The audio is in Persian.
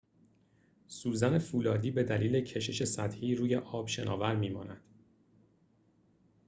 سوزن فولادی به دلیل کشش سطحی روی آب شناور می‌ماند